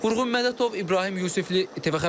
Vurğun Mədətov, İbrahim Yusifli, TV xəbər.